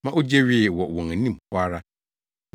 ma ogye wee wɔ wɔn anim hɔ ara.